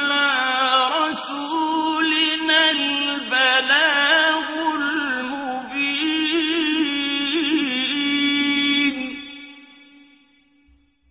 عَلَىٰ رَسُولِنَا الْبَلَاغُ الْمُبِينُ